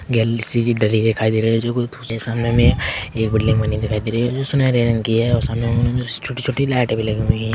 दिखाई दे रही है सामने में एक बिल्डिंग बनी दिखाई दे रही है जो सुनहरे रंग की है सामने हमें छोटी-छोटी लाइटे भी लगी हुई है।